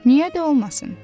Niyə də olmasın?